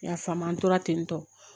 I y'a faamu an tora ten tɔ